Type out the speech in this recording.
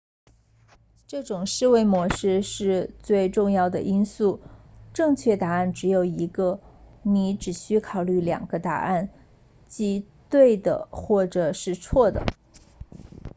这种思维模式最重要的因素是正确答案只有一个你只需考虑两个答案即对的或者是错的